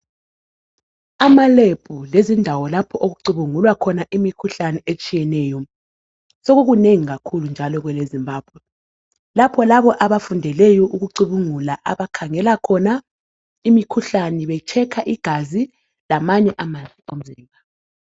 Amalebhu lezindawo lapho okucubungulwa khona imikhuhlane etshiyeneyo sokukunengi kakhulu njalo kwelezimbabwe lapho labo abafundeleyo ukucubungula abakhangela khona imikhuhlane betshekha igazi lamanye ama results